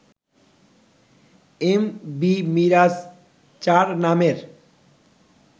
M V Mirage four নামের